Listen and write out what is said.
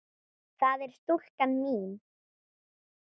það er stúlkan mín.